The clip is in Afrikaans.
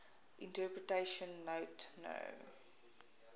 interpretation note no